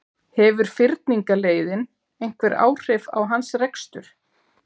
Hefur fyrningarleiðin einhver áhrif á hans rekstur?